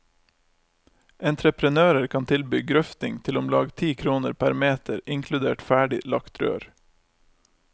Entreprenører kan tilby grøfting til omlag ti kroner per meter inkludert ferdig lagt rør.